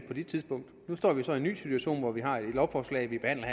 på det tidspunkt nu står vi så i en ny situation hvor vi har et lovforslag vi behandler